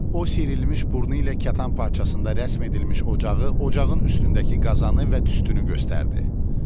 O şişirilmiş burnu ilə kətan parçasında rəsm edilmiş ocağı, ocağın üstündəki qazanı və tüstünü göstərdi.